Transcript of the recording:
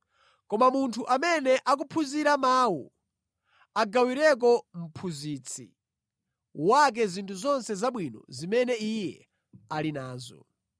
Koma munthu amene akuphunzira mawu, agawireko mphunzitsi wake zinthu zonse zabwino zimene iye ali nazo.